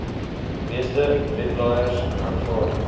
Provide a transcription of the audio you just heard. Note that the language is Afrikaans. meeste webblaaiers aanvaar